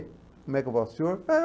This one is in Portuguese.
Como é que vai o senhor? Ah